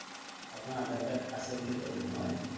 আপোনাৰ আধাৰ card আছে বুলি কলে নহয়